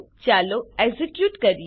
ચાલો એક્ઝીક્યુટ કરીએ